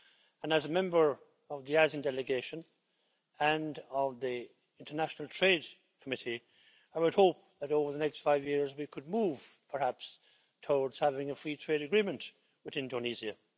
And as a member of the ASEAN delegation and of the International Trade Committee, I would hope that over the next five years we could move, perhaps, towards having a free trade agreement with Indonesia.